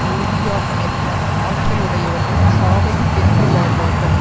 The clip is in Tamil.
உறுதியாக நிற்கும் ஆற்றலுடையவர்கள் சாவையும் வென்று வாழ்வார்கள்